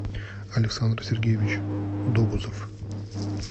александр сергеевич догузов